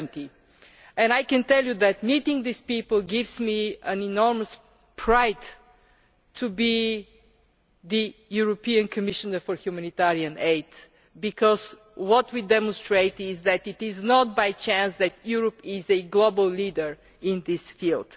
70. I can tell you that meeting these people makes me enormously proud to be the European Commissioner for humanitarian aid because what we are demonstrating is that it is not by chance that Europe is a global leader in this field.